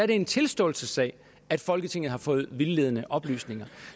det en tilståelsessag at folketinget har fået vildledende oplysninger